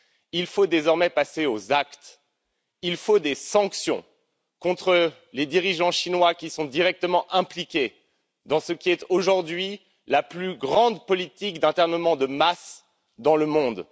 Il faut désormais passer aux actes, il faut des sanctions contre les dirigeants chinois qui sont directement impliqués dans ce qui est aujourd'hui la plus grande politique d'internement de masse dans le monde.